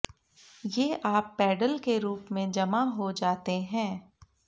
ये आप पेडल के रूप में जमा हो जाते हैं